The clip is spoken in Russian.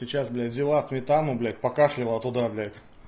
сейчас бля взяла сметану блять покашляла туда бля